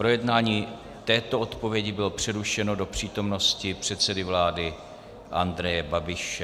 Projednávání této odpovědi bylo přerušeno do přítomnosti předsedy vlády Andreje Babiše.